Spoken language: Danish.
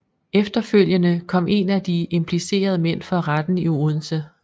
Efterfølgende kom en af de implicerede mænd for retten i Odense